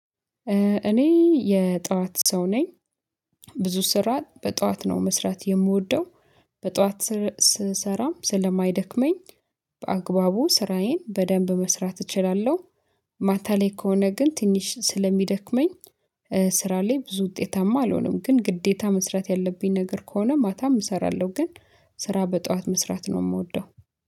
እኔ የጠዋት ሰው ነኝ። ብዙ ስራ በጠዋት ነው መስራት የምወደው። በጠዋት ስሰራም ስለማይደክመኝ። በአግባቡ ስራዬን በደንብ መስራት እችላለሁ። ማታ ላይ ከሆነ ግን ትንሽ ስለሚደክመኝ። ስራ ላይ ብዙ ውጤታማ አልሆንም። ግን ግዴታ መስራት ያለብኝ ነገር ከሆነ ማታም እሰራለሁ። ግን ስራ በጠዋት መስራት ነው የምወደው።